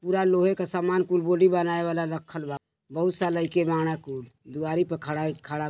पूरा लोहे के सामान कुल बॉडी बनाये वाला रखल बा। बहुत सा लइके बाड़न कुल। दुआरी पे खड़ा एक खड़ा--